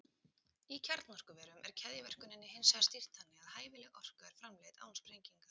Í kjarnorkuverum er keðjuverkuninni hins vegar stýrt þannig að hæfileg orka er framleidd án sprengingar.